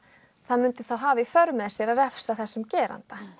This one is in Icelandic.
það myndi þá hafa í för með sér að refsa þessum geranda